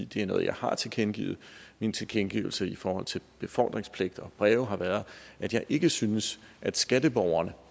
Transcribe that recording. det er noget jeg har tilkendegivet min tilkendegivelse i forhold til befordringspligt og breve har været at jeg ikke synes at skatteborgerne